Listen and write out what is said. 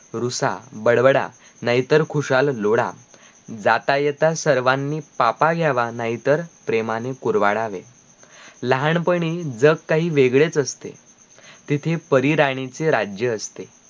रुसा बडबडा नाहीतर खुशाल रोडा जाता येता सर्वांनी पापा घ्यावा नाहीतर प्रेमांनी कुरवाडावे लहानपणी जग काही वेगडेच असते तिथी परिरानीचे राज्य असते